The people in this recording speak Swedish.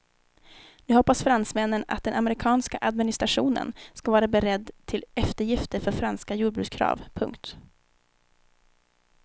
Nu hoppas fransmännen att den amerikanska administrationen ska vara beredd till eftergifter för franska jordbrukskrav. punkt